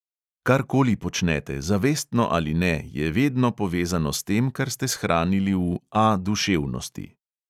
Kar koli počnete, zavestno ali ne, je vedno povezano s tem, kar ste shranili v "A duševnosti".